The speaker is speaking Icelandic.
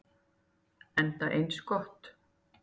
Enda eins gott.